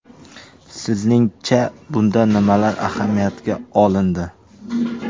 Sizning-cha, bunda nimalar ahamiyatga olindi?